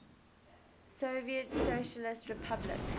soviet socialist republic